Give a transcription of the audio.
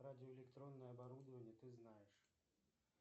радиоэлектронное оборудование ты знаешь